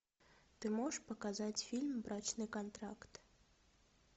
ты можешь показать фильм брачный контракт